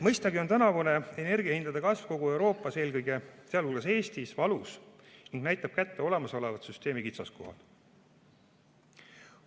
Mõistagi on tänavune energiahindade kasv kogu Euroopas, sealhulgas Eestis, valus ning näitab kätte olemasoleva süsteemi kitsaskohad.